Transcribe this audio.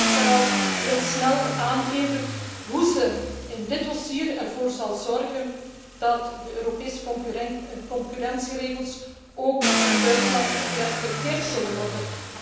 De Commissie moet vooral heel snel aangeven hoe ze in dit dossier ervoor zal zorgen dat de Europese concurrentieregels ook door Duitsland gerespecteerd zullen worden.